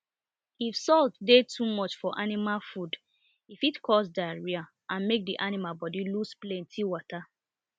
if salt dey too much for animal food e fit cause diarrhoea and make the animal body lose plenty water